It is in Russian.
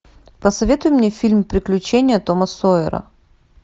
посоветуй мне фильм приключения тома сойера